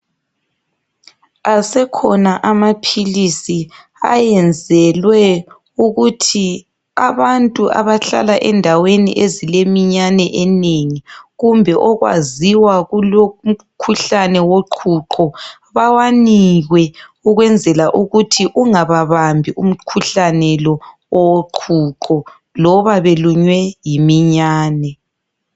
Asekhona amaphilisi ayenzelwe ukuthi abantu abahlala endaweni ezileminyane eminengi kumbe okwaziwa kulomkhuhlane woqhuqho bawanikwe ukwenzela ukuthi ungababambi umkhuhlane lo owoqhuqho loba belunywe yiminyane.